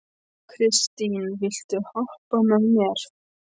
Kristine, viltu hoppa með mér?